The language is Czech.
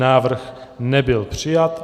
Návrh nebyl přijat.